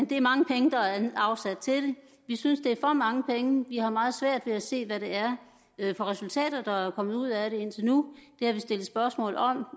det er mange penge der er afsat til det vi synes det er for mange penge og vi har meget svært ved at se hvad det er for resultater der er kommet ud af det indtil nu det har vi stillet spørgsmål om og